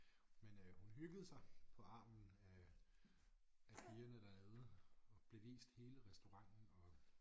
Men øh hun hyggede sig på armen af af pigerne dernede og blev vist hele restauranten og